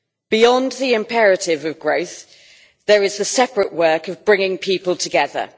Beyond the imperatives of growth, there is the separate work of bringing people together.